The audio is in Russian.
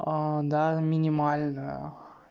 да минимально